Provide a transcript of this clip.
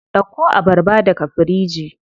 Dauko abarba daga firiji.